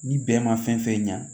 Ni bɛɛ ma fɛn fɛn ɲa